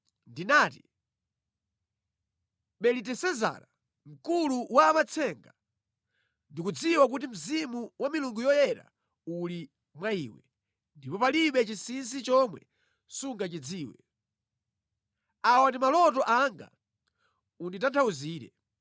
Ndinati, “Belitesezara, mkulu wa amatsenga, ndikudziwa kuti mzimu wa milungu yoyera uli mwa iwe, ndipo palibe chinsinsi chomwe sungachidziwe. Awa ndi maloto anga; unditanthauzire.